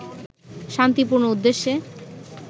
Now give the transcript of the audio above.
শান্তিপূর্ণ উদ্দেশ্যে